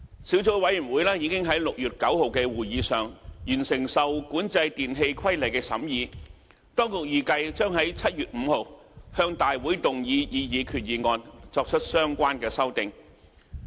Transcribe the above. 小組委員會已在6月9日的會議上完成《受管制電器規例》的審議，當局預計將在7月5日向立法會動議擬議決議案，作出相關修訂。